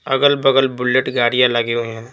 अगल-बगल बुलेट गाड़ियां लगे हुए हैं।